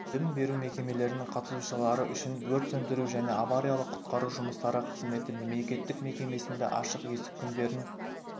білім беру мекемелерінің қатысушылары үшін өрт сөндіру және авариялық-құтқару жұмыстары қызметі мемлекеттік мекемесінде ашық есік күндерін